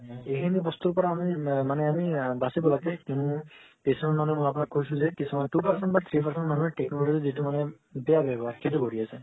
এইখিনি বস্তুৰ পৰা আমি মানে আমি আ বাচিব লাগে কিছুমান two percent বা three percent মানুহে technology ৰ যেটো মানে বেয়া ৱ্যাবহাৰ সেইটো কৰি আছে